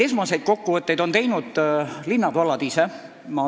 Esmaseid kokkuvõtteid on teinud linnad-vallad ise.